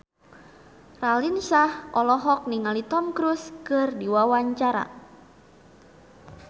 Raline Shah olohok ningali Tom Cruise keur diwawancara